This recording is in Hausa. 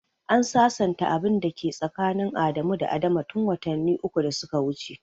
An sasanta abin da ke tsakanin Adamu da Adama tun watanni uku da suka wuce.